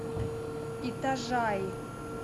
итажаи